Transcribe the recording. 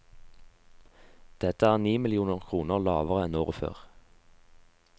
Dette er ni millioner kroner lavere enn året før.